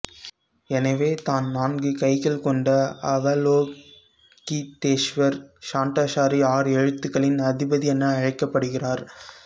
எனவே தான் நான்கு கைகள் கொண்ட அவலோகிதேஷ்வர் ஷடாக்ஷரிஆறெழுத்துகளின் அதிபதி என அழைக்கப்படுகிறார்